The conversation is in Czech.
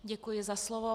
Děkuji za slovo.